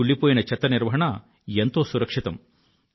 ఈ కుళ్ళిపోయిన చెత్త నిర్వహణ ఎంతో సురక్షితం